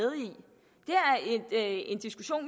er en diskussion